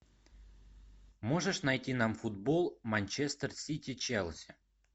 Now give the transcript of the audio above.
можешь найти нам футбол манчестер сити челси